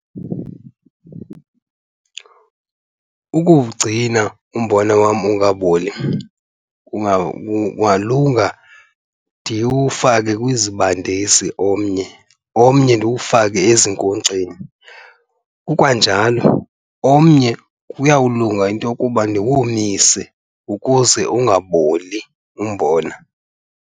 Ukuwugcina umbona wam ungaboli kungalunga ndiwufake kwizibandisi omnye, omnye ndiwufake ezinkonkxeni. Kukwanjalo, omnye kuyawulunga into yokuba ndiwomise ukuze ungaboli umbona